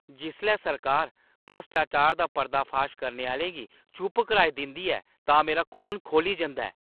जिसलै सरकार भ्रश्टाचार दा पर्दाफाश करने आह्‌लें गी चुप कराई दिंदी ऐ तां मेरा खून खौली जंदा ऐ।